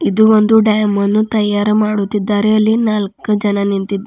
ಇದು ಒಂದು ಡ್ಯಾಮ್ ಅನ್ನು ತಯಾರು ಮಾಡುತ್ತಿದ್ದಾರೆ ಅಲ್ಲಿ ನಾಲ್ಕ ಜನ ನಿಂತಿದ್ದಾ --